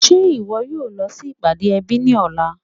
Ṣe iwọ yóò lọ sí ipádé èbí ni ọ̀lá?